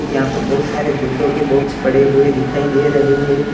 यहां पर बहुत सारे जूतों के बॉक्स पड़े हुए दिखाई दे रहे हैं।